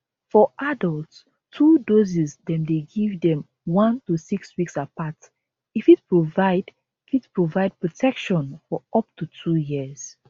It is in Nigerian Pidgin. for adults 2 doses dem dey give dem 1 to 6 weeks apart e fit provide fit provide protection for up to 2 years